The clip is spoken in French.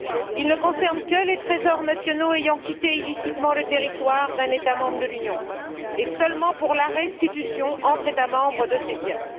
Il ne concerne que les trésors nationaux ayant quitté illicitement le territoire d'un État membre de l'Union, et ce seulement pour la restitution entre États membres de ces biens.